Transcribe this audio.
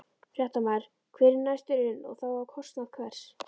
Fréttamaður: Hver er næstur inn og þá á kostnað hvers?